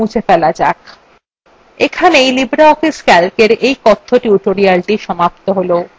এখানেই libreoffice calcএর এই কথ্য tutorialthe সমাপ্ত হল